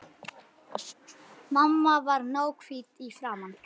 Mamma varð náhvít í framan.